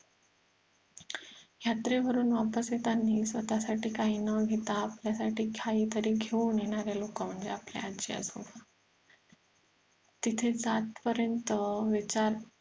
यात्रे वरून वापस येतांनी स्वतःसाठी काही न घेता आपल्या साठी काहीतरी घेऊन येणारे लोक म्हणजे आपले आजी आजोबा तिथं जात पर्यंत विचार